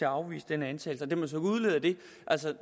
afvise denne antagelse det man så kunne udlede af det er altså